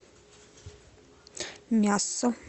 мясо